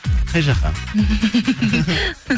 қай жаққа